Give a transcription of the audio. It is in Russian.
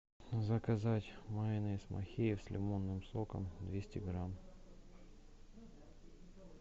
заказать майонез махеев с лимонным соком двести грамм